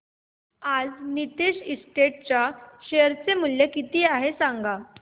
आज नीतेश एस्टेट्स चे शेअर मूल्य किती आहे सांगा